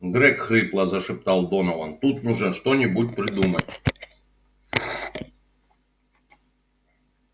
грег хрипло зашептал донован тут нужно что-нибудь придумать